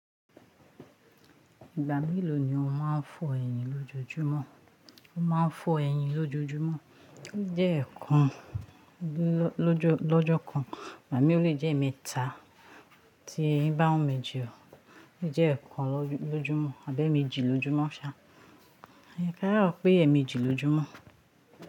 Ìgbà mélòó ni o máa ń fọ ẹyìn lójojúmọ́? O máa ń fọ ẹyìn lójojúmọ́, o jẹ́ ẹ̀ẹ̀kan lọ́jọ́ kan, gbami ò lé jẹ́ emẹ́ta tí eyín bá ń wu mì je o, ó lẹ́ je ẹ̀ẹ̀kan lojúmọ́ àbi eméjì lójúmọ́ ṣá, ká sà so ọpẹ èmejí lójúmọ́.